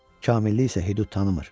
Kamillik isə hüdud tanımır.